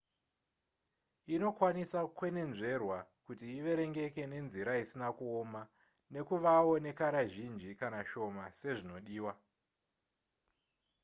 inokwanisa kukwenenzverwa kuti iverengeke nenzira isina kuoma nekuvawo nekara zhinji kana shoma sezvinodiwa